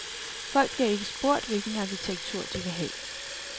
Folk bliver ikke spurgt om, hvilken arkitektur de vil have.